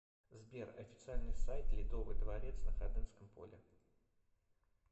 сбер официальный сайт ледовый дворец на ходынском поле